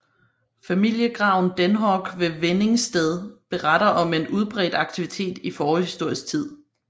Familiegraven Denhoog ved Venningsted beretter om en udbredt aktivitet i forhistorisk tid